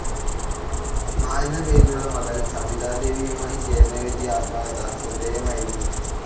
മ എന്ന പേരിൽ മകൾ സവിതാദേവിയുമായി ചേർന്നെഴുതിയ ആത്മകഥ ശ്രദ്ധേയമായിരുന്നു.